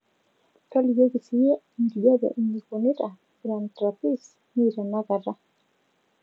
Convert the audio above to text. tolikioki siiyie enkijape inikunita grand rapis mi tenakata